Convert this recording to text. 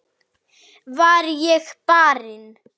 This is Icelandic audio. Var ég barinn?